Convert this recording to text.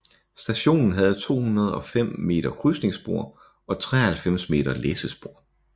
Stationen havde 205 m krydsningsspor og 93 m læssespor